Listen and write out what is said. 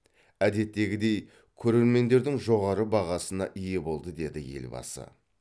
әдеттегідей көрермендердің жоғары бағасына ие болды деді елбасы